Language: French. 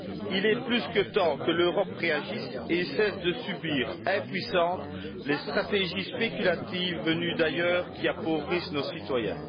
Il est plus que temps que l'Europe réagisse et cesse de subir, impuissante, les stratégies spéculatives venues d'ailleurs, qui appauvrissent nos citoyens.